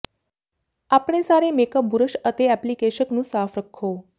ਆਪਣੇ ਸਾਰੇ makeup brush ਅਤੇ ਐਪਲੀਕੇਸ਼ਕ ਨੂੰ ਸਾਫ਼ ਰੱਖੋ